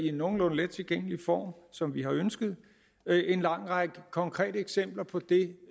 i nogenlunde let tilgængelig form som vi har ønsket en lang række konkrete eksempler på det